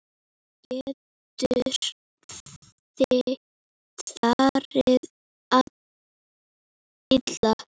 Þá getur farið illa.